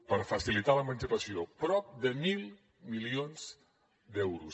per facilitar l’emancipació prop de mil milions d’euros